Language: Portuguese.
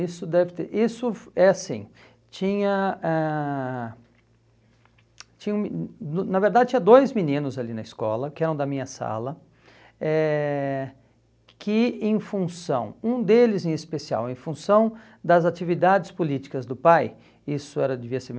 Isso deve ter, isso é assim, tinha ãh tinha um me, no na verdade tinha dois meninos ali na escola, que eram da minha sala, eh que em função, um deles em especial, em função das atividades políticas do pai, isso era devia ser